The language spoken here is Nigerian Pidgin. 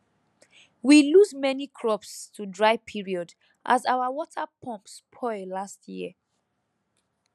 we lose many crops to dry period as our water pump spoil last year